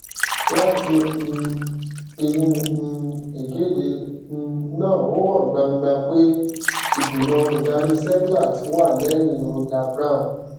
láti um inú um ìkéde um náà ó hàn gbangba pé ìgbìmọ olùdarí seplat wà lẹyìn roger brown